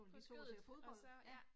På skødet og så, ja